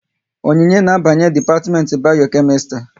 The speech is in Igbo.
Onyinye na abanye dipatiment Bayo-Kemistri